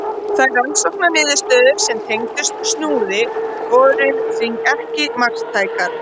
Þær rannsóknarniðurstöður sem tengdust Snúði voru því ekki marktækar.